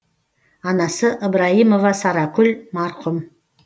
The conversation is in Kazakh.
анасы ыбырайымова саракүл марқұм